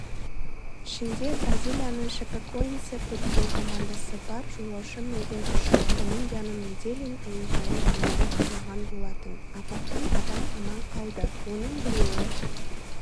ішінде бразилияның шапекоэнсе футбол командасы бар жолаушы мінген ұшақ колумбияның мидельин әуежайы маңында құлаған болатын апаттан адам аман қалды оның біреуі